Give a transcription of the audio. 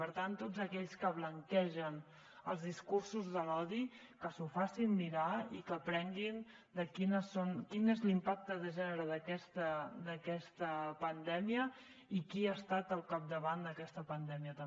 per tant tots aquells que blanquegen els discursos de l’odi que s’ho facin mirar i que aprenguin de quin és l’impacte de gènere d’aquesta pandèmia i qui ha estat al capdavant d’aquesta pandèmia també